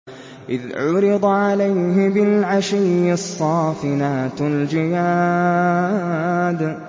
إِذْ عُرِضَ عَلَيْهِ بِالْعَشِيِّ الصَّافِنَاتُ الْجِيَادُ